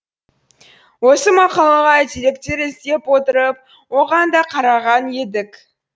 осы мақалаға деректер іздеп отырып оған да қараған едік